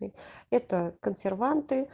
это консерванты